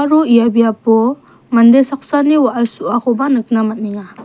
aro ia biapo mande saksani wa·al so·akoba nikna man·enga.